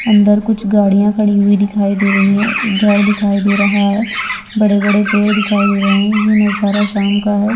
अंदर कुछ गड़िया खड़ी हुई दिखाई दे रही है | एक घर दिखाई दे रहा है | बड़े -बड़े पेड़ दिखाई दे रहे हैं | यह नजारा शाम का है |